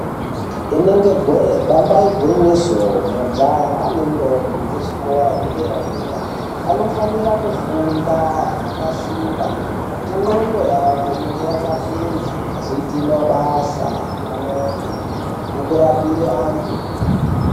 Inenge jee nyamba igwinyiso majaha nendombi dzezvikora zvedera-dera vanofanira kufunda zvakasimba kuti ndxondo yavo ive yakapinza vazoita mabasa akanaka ekurapire antu.